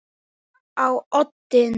Öryggið á oddinn!